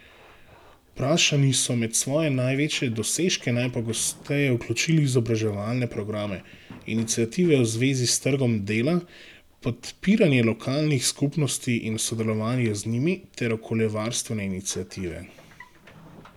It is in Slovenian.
Vprašani so med svoje največje dosežke najpogosteje vključili izobraževalne programe, iniciative v zvezi s trgom dela, podpiranje lokalnih skupnosti in sodelovanje z njimi ter okoljevarstvene iniciative.